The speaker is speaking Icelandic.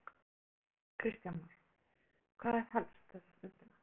Edda Andrésdóttir: Kristján Már, hvað er helst þessa stundina?